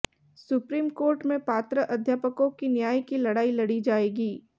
supreme court में पात्र अध्यापकों की न्याय की लड़ाई लड़ी जाएगी